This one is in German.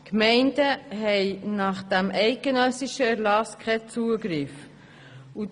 Die Gemeinden haben diesem eidgenössischen Erlass zufolge keinen Zugriff darauf.